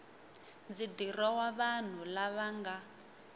ndzi dirowa vanhu lava nga